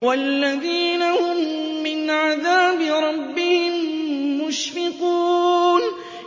وَالَّذِينَ هُم مِّنْ عَذَابِ رَبِّهِم مُّشْفِقُونَ